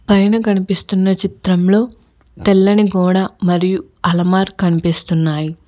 పైన కనిపిస్తున్న చిత్రంలో తెల్లని గోడ మరియు అలమార్ కనిపిస్తున్నాయి.